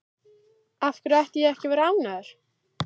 Af hverju ætti ég ekki að vera ánægður?